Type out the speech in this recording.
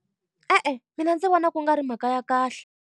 E-e mina ndzi vona ku nga ri mhaka ya kahle.